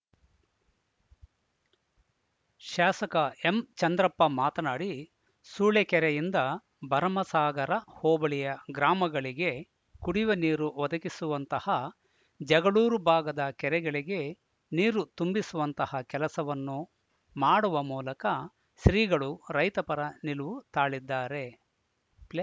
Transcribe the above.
ಶಾಸಕ ಎಂಚಂದ್ರಪ್ಪ ಮಾತನಾಡಿ ಸೂಳೆಕೆರೆಯಿಂದ ಭರಮಸಾಗರ ಹೋಬಳಿಯ ಗ್ರಾಮಗಳಿಗೆ ಕುಡಿಯುವ ನೀರು ಒದಗಿಸುವಂತಹ ಜಗಳೂರು ಭಾಗದ ಕೆರೆಗಳಿಗೆ ನೀರು ತುಂಬಿಸುವಂತಹ ಕೆಲಸವನ್ನು ಮಾಡುವ ಮೂಲಕ ಶ್ರೀಗಳು ರೈತಪರ ನಿಲುವು ತಾಳಿದ್ದಾರೆ ಪ್ಲೇ